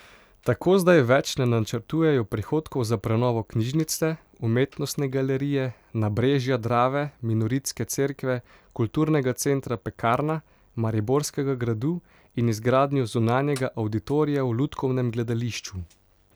Tako zdaj več ne načrtujejo prihodkov za prenovo knjižnice, umetnostne galerije, nabrežja Drave, minoritske cerkve, kulturnega centra Pekarna, Mariborskega gradu in izgradnjo zunanjega avditorija v lutkovnem gledališču.